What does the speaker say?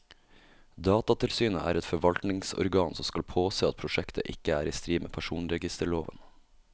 Datatilsynet er et forvaltningsorgan som skal påse at prosjektet ikke er i strid med personregisterloven.